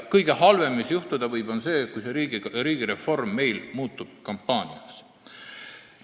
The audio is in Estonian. Kõige halvem, mis juhtuda võib, on see, kui see riigireform meil kampaaniaks muutub.